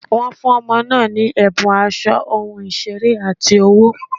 Wọ́n fún ọmọ náà ní ẹ̀bùn aṣọ, ohun ìṣeré, àti owó.